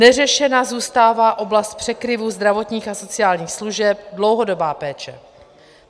Neřešena zůstává oblast překryvu zdravotních a sociálních služeb, dlouhodobá péče.